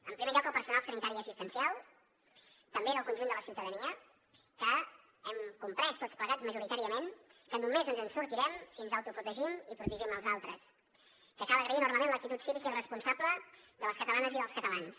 en primer lloc el personal sanitari i assistencial també el conjunt de la ciutadania que hem comprès tots plegats majoritàriament que només ens en sortirem si ens autoprotegim i protegim els altres que cal agrair enormement l’actitud cívica i responsable de les catalanes i dels catalans